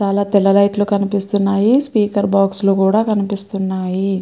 చాలా తెల్ల లైట్ లు కనిపిస్తున్నాయి స్పీకర్ బాక్స్ లు కూడా కనిపిస్తున్నాయి.